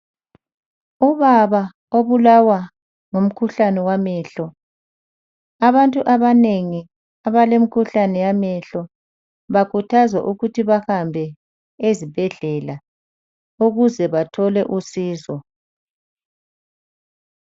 Ubaba obulawa ngumkhuhlane wamehlo . Abantu abanengi abale mkhuhlane yamehlo bakhuthazwa ukuthi bahambe ezibhedlela ukuze bathole usizo.